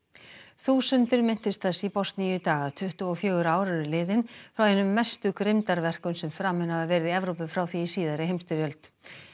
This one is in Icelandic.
þúsundir minntust þess í Bosníu í dag að tuttugu og fjögur ár eru liðin frá einum mestu grimmdarverkum sem framin hafa verið í Evrópu frá því í síðari heimsstyrjöld